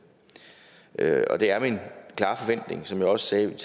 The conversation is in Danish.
det er min klare forventning som jeg også sagde i min